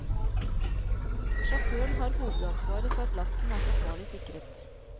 Sjåføren har hovedansvaret for at lasten er forsvarlig sikret.